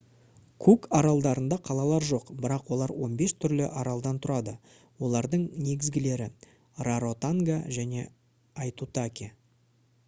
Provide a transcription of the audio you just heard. кук аралдарында қалалар жоқ бірақ олар 15 түрлі аралдан тұрады олардың негізгілері раротонга және аитутаки